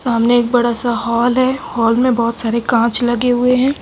सामने एक बड़ा सा हॉल है हॉल में बहोत सारे कांच लगे हुए हैं।